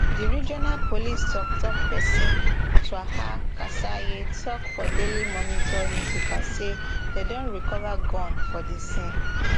di regional police toktok pesin twaha kasirye tok for daily monitor newspaper say dem don recova gun for di scene